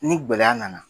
Ni gɛlɛya nana